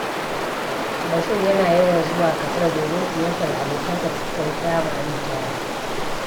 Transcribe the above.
Bashir yana yawan zuwa Katsina domin ziyartar abokansa da suka yi firamare tare.